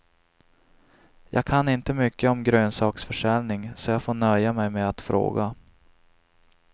Jag kan inte mycket om grönsaksförsäljning, så jag får nöja mig med att fråga.